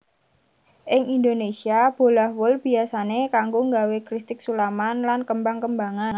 Ing Indonésia bolah wol biyasané kanggo nggawé kristik sulaman lan kembang kembangan